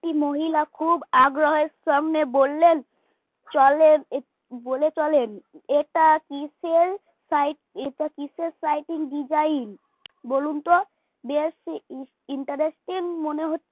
একটি মহিলা খুব আগ্রহের সঙ্গে বললেন চলেন বলে চলেন এটা কিসের sight এটা কিসের sighting design বলুন তো বেশ interesting মনে হচ্ছে